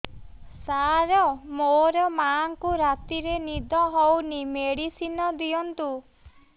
ସାର ମୋର ମାଆଙ୍କୁ ରାତିରେ ନିଦ ହଉନି ମେଡିସିନ ଦିଅନ୍ତୁ